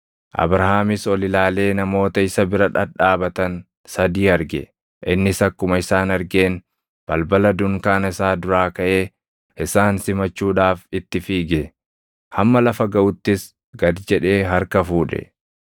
Abrahaamis ol ilaalee namoota isa bira dhadhaabatan sadii arge. Innis akkuma isaan argeen balbala dunkaana isaa duraa kaʼee isaan simachuudhaaf itti fiige; hamma lafa gaʼuttis gad jedhee harka fuudhe.